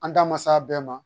An da ma s'a bɛɛ ma